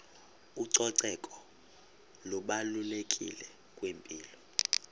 ucoceko lubalulekile kwimpilo